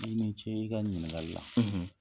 I ni ce i ka ɲiningali la.